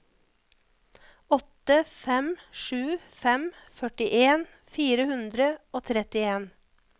åtte fem sju fem førtien fire hundre og trettien